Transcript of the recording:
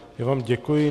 Já vám děkuji.